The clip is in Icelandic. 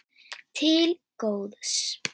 Til góðs.